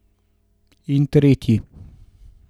In tretji.